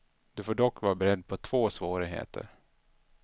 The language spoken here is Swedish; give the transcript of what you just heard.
Du får dock vara beredd på två svårigheter.